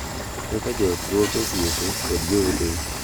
Kaka joot rwako osiepe kod jowetegi